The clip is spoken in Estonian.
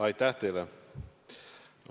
Aitäh teile!